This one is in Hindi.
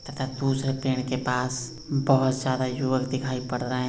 तथा दूसरे पेड़ के पास बोहोत सारा युवक दिखाई पड़ रहे।